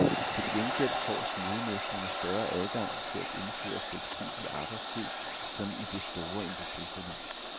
Til gengæld får smedemestrene større adgang til at indføre fleksibel arbejdstid som i det store industriforlig.